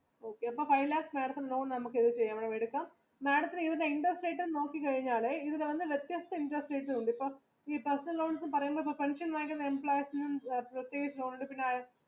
അപ്പൊ five lakhs loan നമ്മുക്ക് madam ത്തിന് interest rate നോക്കി കഴിഞ്ഞാൽ എന്ന് പറഞ്ഞാൽ വ്യത്യസ്ത interest rate ഉണ്ട്